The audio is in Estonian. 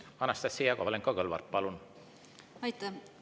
Anastassia Kovalenko-Kõlvart, palun!